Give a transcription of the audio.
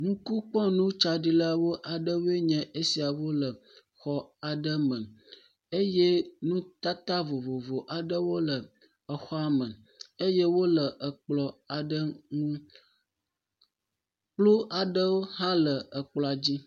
Ŋkukpɔnutsaɖilawo aɖewoe nye esiawo le xɔ aɖe me. eye nutata vovovo aɖewo le exɔame eye wole ekplɔ̃ aɖe ŋu. Kplu aɖewo hã le ekplɔ̃a dzi.